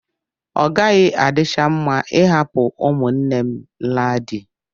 Ọ gaghị adịcha mma ịhapụ ụmụnne m laa di.